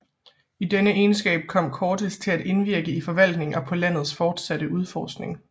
I denne egenskab kom Cortés at indvirke i forvaltningen og på landets fortsatte udforskning